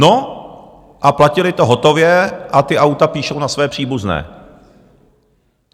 No a platili to hotově a ta auta píšou na své příbuzné.